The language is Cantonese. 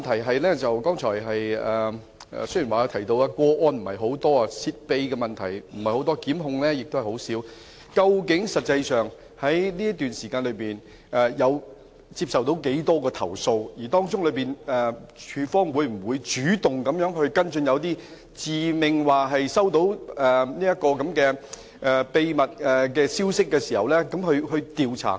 我的補充質詢是，雖然司長剛才提及泄秘個案不是太多，檢控個案也很少，但究竟實際上這段時間接獲多少宗投訴，署方會否主動就一些自命接獲秘密消息的個案進行調查？